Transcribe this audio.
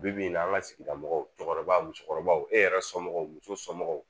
Bi bi in na an ka sigida mɔgɔw cɛkɔrɔbaw musokɔrɔbaw e yɛrɛ somɔgɔw musomɔgɔw